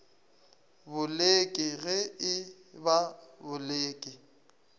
boleke ge e ba boleke